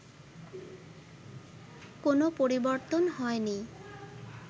কোনো পরিবর্তন হয়নি